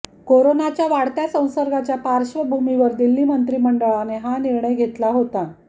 कोरोनाच्या वाढत्या संसर्गाच्या पार्श्वभूमीवर दिल्ली मंत्रिमंडळाने हा निर्णय घेतला होता